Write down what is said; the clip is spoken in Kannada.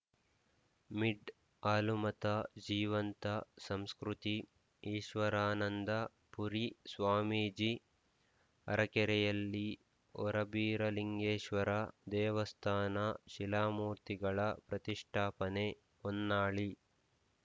ಮಿಡ್ ಹಾಲುಮತ ಜೀವಂತ ಸಂಸ್ಕೃತಿ ಈಶ್ವರಾನಂದ ಪುರಿ ಸ್ವಾಮೀಜಿ ಅರಕೆರೆಯಲ್ಲಿ ಹೊರಬೀರಲಿಂಗೇಶ್ವರ ದೇವಸ್ಥಾನ ಶಿಲಾಮೂರ್ತಿಗಳ ಪ್ರತಿಷ್ಠಾಪನೆ ಹೊನ್ನಾಳಿ